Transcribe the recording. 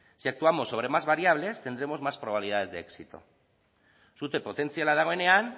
si actuamos sobre más variables tendremos más probabilidades de éxito sute potentziala dagoenean